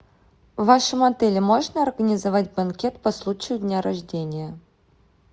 в вашем отеле можно организовать банкет по случаю дня рождения